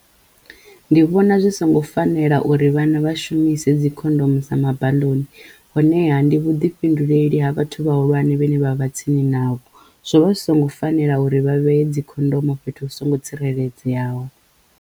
Ndi vhona zwi songo fanela uri vhana vha shumise dzi khondomu sa mabaḽoni honeha ndi vhuḓifhinduleli ha vhathu vhahulwane vhane vha vha tsini navho zwo vha zwi songo fanela uri vha vheye dzi khondomo fhethu hu songo tsireledzeyaho.